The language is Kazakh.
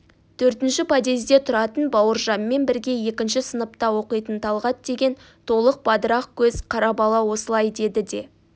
төртінші подъезде тұратын бауыржанмен бірге екінші сыныпта оқитын талғат деген толық бадырақ көз қара бала осылай деді де